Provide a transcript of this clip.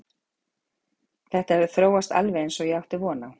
Þetta hefur þróast alveg eins og átti von á.